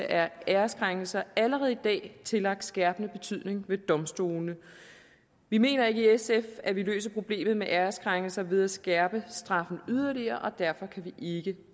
af æreskrænkelser allerede i dag tillagt skærpende betydning ved domstolene vi mener ikke i sf at vi løser problemet med æreskrænkelser ved at skærpe straffen yderligere og derfor kan vi ikke